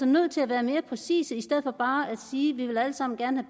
nødt til at være mere præcise i stedet for bare at sige vi vil alle sammen gerne